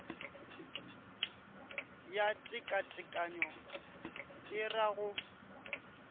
ya tekatekanyo e ra go